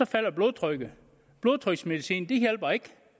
falder blodtrykket blodtryksmedicin hjælper ikke